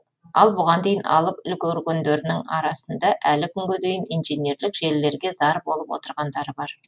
ал бұған дейін алып үлгергендерінің арасында әлі күнге дейін инженерлік желілерге зар болып отырғандары бар